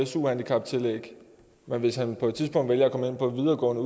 su handicaptillæg men hvis han på et tidspunkt valgte at komme ind på en videregående